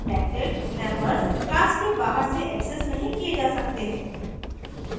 protected members class के बाहर से accessed नहीं किये जा सकते हैं